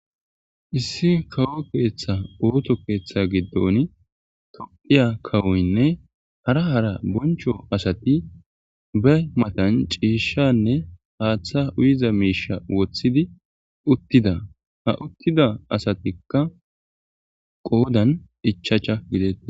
issi kawo keeththa ooththo keeththa giddon toophphya kawoynne hara hara bonchcho asati be matan ciishshanne haaththa uyiza miisha woththidi uttida a uttida asatikka qoodan ichachcha gidetees